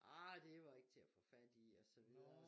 Ej det var ikke til at få fat i og så videre